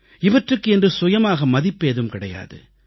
இவற்றுக்கு என்று சுயமாக மதிப்பேதும் கிடையாது